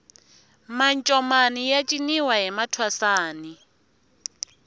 mancomani ya ciniwa hi mathwasani